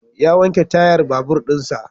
Ya wanke tayar babur din sa.